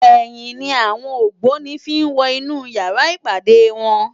Èyin ni áwòn ógbóni fi n wò inú yàrá ipádé wòn